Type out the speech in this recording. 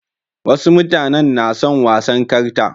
Wasu mutanen na son wasan karta.